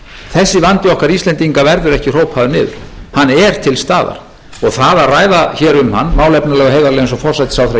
þessi vandi okkar íslendinga verður ekkert hrópaður niður hann er til staðar og það að ræða hér um hann málefnalega og heiðarlega eins og forsætisráðherra